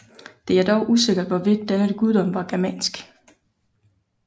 Det er dog usikkert hvorvidt denne guddom var germansk